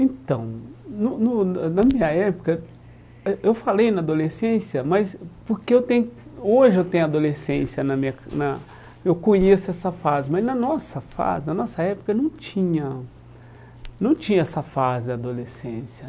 Então, no no ãh na minha época, eh eu falei na adolescência, mas porque eu tem hoje eu tenho adolescência na minha na, eu conheço essa fase, mas na nossa fase na nossa época não tinha não tinha essa fase da adolescência.